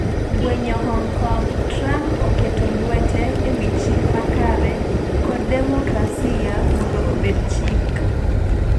Gwenyo Hong Kong: Trump oketo lwete ewi chik makare kod demokrasia mondo obed chik